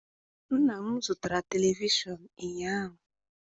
Nna m zụtara televishọn ụnyaahụ.